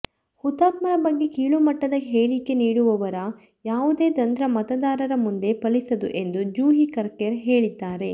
ಹುತಾತ್ಮರ ಬಗ್ಗೆ ಕೀಳುಮಟ್ಟದ ಹೇಳಿಕೆ ನೀಡುವವರ ಯಾವುದೇ ತಂತ್ರ ಮತದಾರರ ಮುಂದೆ ಫಲಿಸದು ಎಂದು ಜೂಹಿ ಕರ್ಕರೆ ಹೇಳಿದ್ದಾರೆ